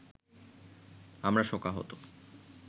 আমরা শোকাহত